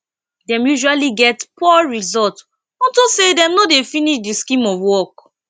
dem usually get poor result unto say dem no dey finish de scheme of work